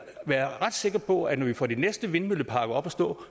ret sikker på at når vi får den næste vindmøllepark op at stå